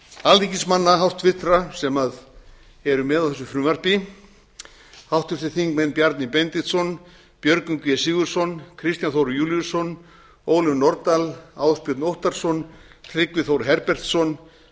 alþingismanna háttvirtur sem eru með á þessu frumvarpi háttvirtir þingmenn bjarni benediktsson björgvin g sigurðsson kristján þór júlíusson ólöf nordal ásbjörn óttarsson tryggvi þór herbertsson